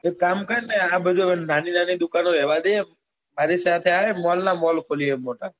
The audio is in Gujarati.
એક કામ કર ને આ બધું નાની નાની દુકાનો રેવાદે મારી સાથે આય mall નાં mall ખોલીએ મોટા